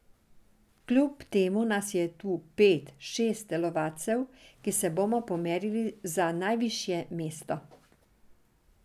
Kljub temu nas je tu pet, šest telovadcev, ki se bomo pomerili za najvišje mesto.